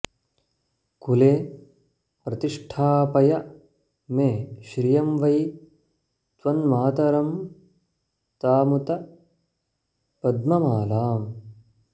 कुले प्रतिष्ठापय में श्रियं वै त्वन्मातरं तामुत पद्ममालाम्